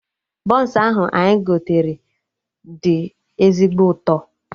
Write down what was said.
Bọns ahụ anyị gotere do ezigbo ụtọ